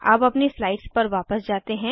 अब अपनी स्लाइड्स पर वापस जाते हैं